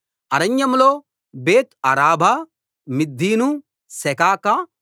అరణ్యంలో బేత్ అరాబా మిద్దీను సెకాకా